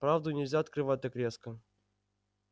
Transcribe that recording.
правду нельзя открывать так резко